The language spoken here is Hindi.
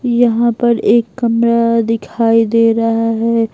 यहां पर एक कमरा दिखाई दे रहा है।